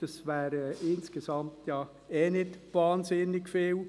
Das wären insgesamt eh nicht wahnsinnig viele.